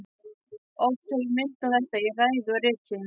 Oft hef ég minnt á þetta í ræðu og riti.